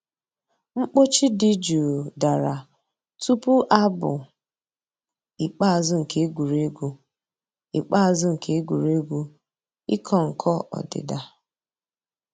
Mkpọ̀chì dì jụụ̀ dàrā túpù àbụ̀ ikpeazụ̀ nke ègwè́régwụ̀ ikpeazụ̀ nke ègwè́régwụ̀ ị̀kọ̀ nkọ̀ òdídà.